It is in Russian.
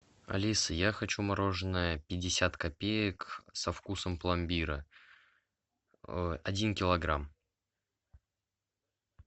алиса я хочу мороженое пятьдесят копеек со вкусом пломбира один килограмм